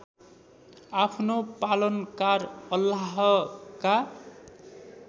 आफ्नो पालनकार अल्लाहका